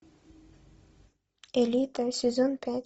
элита сезон пять